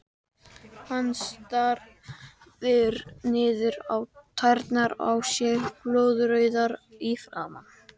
Hann starir niður á tærnar á sér, blóðrauður í framan.